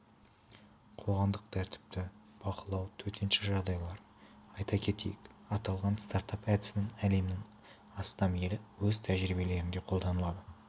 қоғамдық тәртіпті бақылау төтенше жағдайлар айта кетейік аталған стартап әдісін әлемнің астам елі өз тәжірибелерінде қолданады